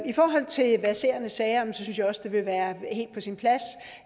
i forhold til de verserende sager synes jeg også det vil være helt på sin plads